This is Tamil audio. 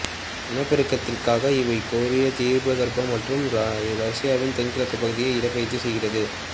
இனப்பெருக்கத்திற்காக இவை கொரியத் தீபகற்பம் மற்றும் ரசியாவின் தென்கிழக்குப் பகுதிக்குச் இடப்பெயர்ச்சி செய்கிறது